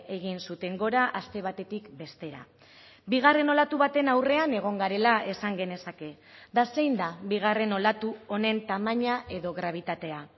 egin zuten gora aste batetik bestera bigarren olatu baten aurrean egon garela esan genezake eta zein da bigarren olatu honen tamaina edo grabitatea